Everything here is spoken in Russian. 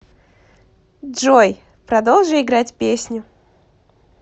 джой продолжи играть песню